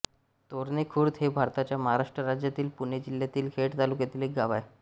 तोरणे खुर्द हे भारताच्या महाराष्ट्र राज्यातील पुणे जिल्ह्यातील खेड तालुक्यातील एक गाव आहे